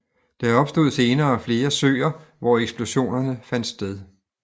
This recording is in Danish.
Der opstod senere flere søer hvor eksplosionerne fandt sted